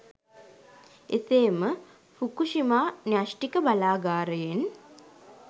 එසේ ම ෆුකුශිමා න්‍යශ්ටික බලාගාරයෙන්